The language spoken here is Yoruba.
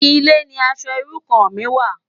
Ilé ni aṣò irú kàn mi wá